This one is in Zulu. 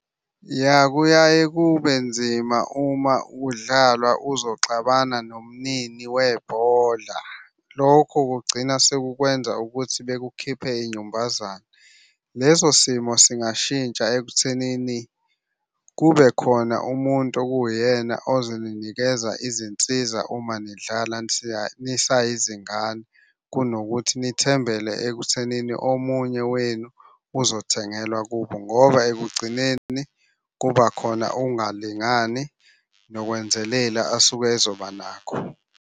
Ya kuyaye kube nzima uma udlalwa uzoxabana nomnini webhola. Lokho kugcina sekukwenza ukuthi bekukhiphe inyumbazane. Leso simo singashintsha ekuthenini kube khona umuntu okuwuyena ozoninikeza izinsiza uma nidlala nisayizingane. Kunokuthi nithembele ekuthenini omunye wenu uzothengelwa kubo ngoba ekugcineni kuba khona ukungalingani nokwenzelela asuke ezoba nakho.